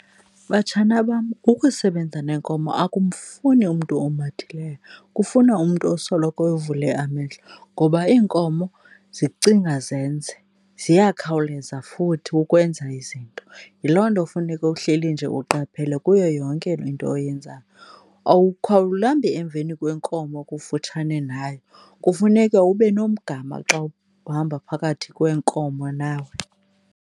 Batshana bam, ukusebenza neenkomo akumfuni umntu omathileyo, kufuna umntu osoloko evule amehlo ngoba iinkomo zicinga zenze. Ziyakhawuleza futhi ukwenza izinto. Yiloo nto funeka uhleli nje uqaphele kuyo yonke le nto oyenzayo. Emveni kwenkomo kufutshana nayo, kufuneka ube nomgama xa uhamba phakathi kweenkomo nawe.